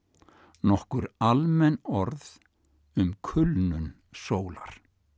nokkur almenn orð um kulnun sólar